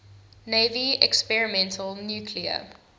navy experimental nuclear